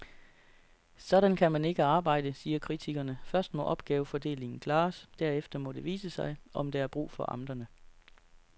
Sådan kan man ikke arbejde, siger kritikerne, først må opgavefordelingen klares, derefter må det vise sig, om der er brug for amterne.